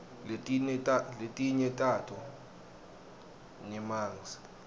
letinye tato nyemangs